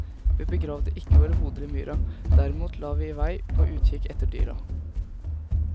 Vi begravde ikke våre hoder i myra, derimot la vi i vei på utkikk etter dyra.